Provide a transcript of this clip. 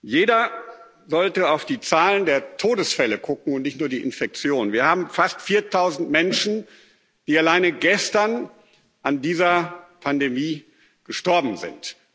Jeder sollte auf die Zahlen der Todesfälle gucken und nicht nur auf die Infektionen Wir haben fast viertausend Menschen, die alleine gestern an dieser Pandemie gestorben sind.